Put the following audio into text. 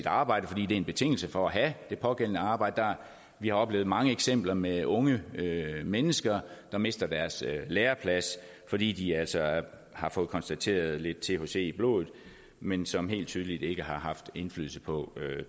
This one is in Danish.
arbejde fordi det er en betingelse for at have det pågældende arbejde vi har oplevet mange eksempler med unge mennesker der mister deres læreplads fordi de altså har fået konstateret lidt thc i blodet men som helt tydeligt ikke har haft indflydelse på